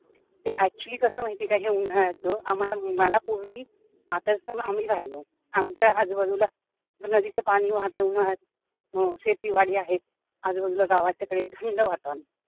ते actually कस आहे माहिती कि हे उन्हाळ्याचा आम्हाला मला पूर्वी आता कस आम्ही राहिलो आमच्या आजूबाजूला नदीच पाणी वाहतंय उन्हयाळात, शेतीवाडी आहे आजूबाजूला गावाच्या कडेला थंड वातावरण